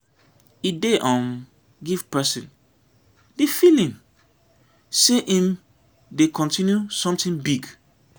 e dey um give person di feeling sey im dey continue something big